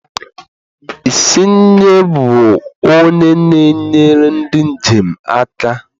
Isnye bụ onye na-enyere ndị njem aka?